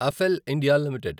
అఫెల్ India limited